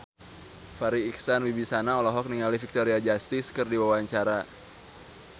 Farri Icksan Wibisana olohok ningali Victoria Justice keur diwawancara